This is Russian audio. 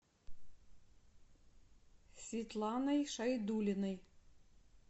светланой шайдуллиной